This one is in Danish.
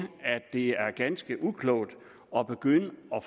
at det er ganske uklogt at begynde at